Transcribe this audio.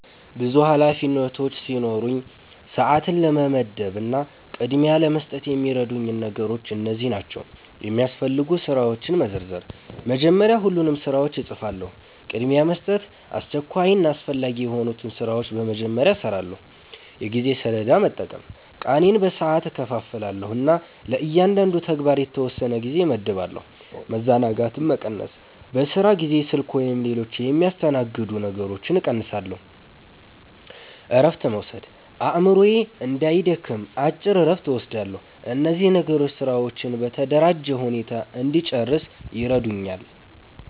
ብዙ ኃላፊነቶች ሲኖሩኝ፣ ሰዓትን ለመመደብ እና ቅድሚያ ለመስጠት የሚረዱኝ ነገሮች እነዚህ ናቸው፦ የሚያስፈልጉ ስራዎችን መዘርዘር – መጀመሪያ ሁሉንም ስራዎች እጽፋለሁ። ቅድሚያ መስጠት – አስቸኳይና አስፈላጊ የሆኑትን ስራዎች በመጀመሪያ እሰራለሁ። የጊዜ ሰሌዳ መጠቀም – ቀኔን በሰዓት እከፋፍላለሁ እና ለእያንዳንዱ ተግባር የተወሰነ ጊዜ እመድባለሁ። መዘናጋትን መቀነስ – በስራ ጊዜ ስልክ ወይም ሌሎች የሚያስተናግዱ ነገሮችን እቀንሳለሁ። እረፍት መውሰድ – አእምሮዬ እንዳይደክም አጭር እረፍት እወስዳለሁ። እነዚህ ነገሮች ስራዎቼን በተደራጀ ሁኔታ እንድጨርስ ይረዱኛል።